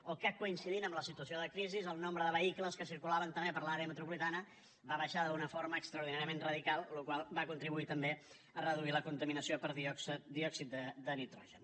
o que coincidint amb la situació de crisi el nombre de vehicles que circulaven també per l’àrea metropolitana va baixar d’una forma extraordinàriament radical cosa que va contribuir també a reduir la contaminació per diòxid de nitrogen